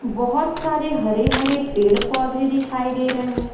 बहुत सारे हरे-हरे पेड़-पौधे दिखाई दे रहे हैं।